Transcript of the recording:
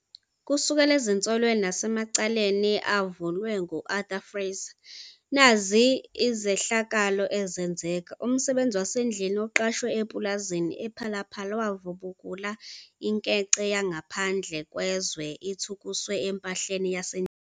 Kusuka ezinsolweni nasemacaleni avulwa ngu-Arthur Fraser, nazi izehlakalo ezenzeka, umsebenzi wasendlini oqashwe epulazini ePhala Phala wavubukula inkece yangaphandle kwezwe ithukuswe empahleni yasendlini.